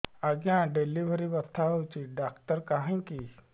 ଆଜ୍ଞା ଡେଲିଭରି ବଥା ହଉଚି ଡାକ୍ତର କାହିଁ କି